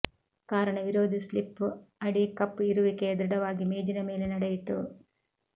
ಕಾರಣ ವಿರೋಧಿ ಸ್ಲಿಪ್ ಅಡಿ ಕಪ್ ಇರುವಿಕೆಯ ದೃಢವಾಗಿ ಮೇಜಿನ ಮೇಲೆ ನಡೆಯಿತು